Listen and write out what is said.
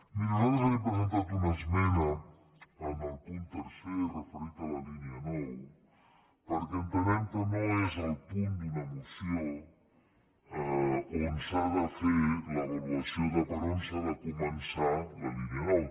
miri nosaltres li hem presentat una esmena en el punt tercer referit a la línia nou perquè entenem que no és al punt d’una moció on s’ha de fer l’avaluació de per on s’ha de començar la línia nou